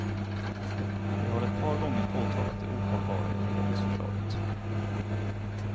Vi har ett par gånger påtalat det ohållbara i regeringsförslaget.